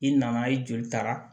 I nana i joli taara